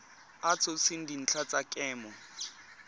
a tshotseng dintlha tsa kemo